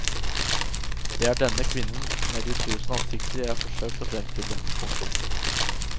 Det er denne kvinnen med de tusen ansikter jeg har forsøkt å fremstille. punktum